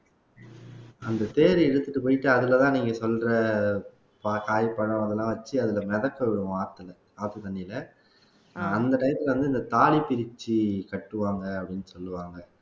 அந்த தேரை இழுத்துட்டு போயிட்டு அதுலதான் நீங்க சொல்ற காய் பழம் அதெல்லாம் வச்சு அதுல மிதக்க விடுவோம் ஆத்தில ஆத்து தண்ணியில அந்த time ல வந்து இந்த தாலி பிரிச்சு கட்டுவாங்க அப்படின்னு சொல்லுவாங்க